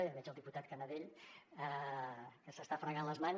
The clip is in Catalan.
ja veig el diputat canadell que s’està fregant les mans